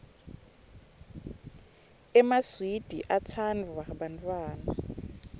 emaswidi atsanduwa bantfwana